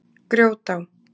Grjótá